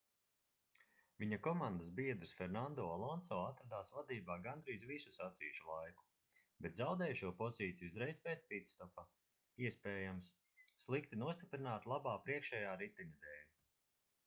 viņa komandas biedrs fernando alonso atradās vadībā gandrīz visu sacīkšu laiku bet zaudēja šo pozīciju uzreiz pēc pitstopa iespējams slikti nostiprināta labā priekšējā riteņa dēļ